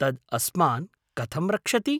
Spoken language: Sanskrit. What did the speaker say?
तद् अस्मान् कथं रक्षति?